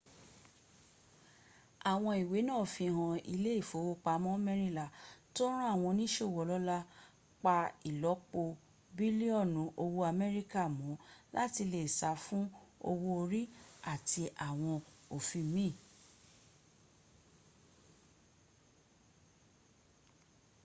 awon iiwe naa fihan ile ifowopamo merinla to ran awon onisowo olola pa ilopo bilioni owo amerika mo lati le sa fun owo ori ati awon ofin miin